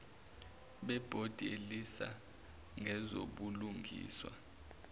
bebhodi elisisa ngezobulungiswa